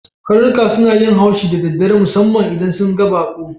Karnuka suna yin haushi da daddare, musammam ma idan sun ga bakon.